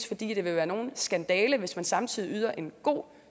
fordi det vil være nogen skandale hvis man samtidig yder en god